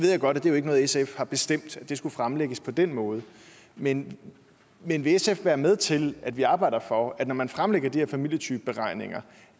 godt at det ikke er noget sf har bestemt at det skulle fremlægges på den måde men vil sf være med til at vi arbejder for at når man fremlægger de her familietypeberegninger